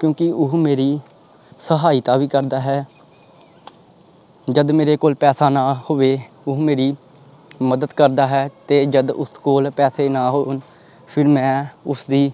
ਕਿਉਂਕਿ ਉਹ ਮੇਰੀ ਸਹਾਇਤਾ ਵੀ ਕਰਦਾ ਹੈ ਜਦ ਮੇਰੇ ਕੋਲ ਪੈਸਾ ਨਾ ਹੋਵੇ ਉਹ ਮੇਰੀ ਮਦਦ ਕਰਦਾ ਹੈ ਤੇ ਜਦ ਉਸ ਕੋਲ ਪੈਸੇ ਨਾ ਹੋਣ ਫਿਰ ਮੈਂ ਉਸਦੀ